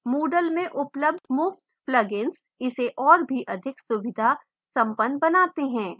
moodle में उपलब्ध मुफ्त plugins इसे और भी अधिक सुविधा संपन्न बनाते हैं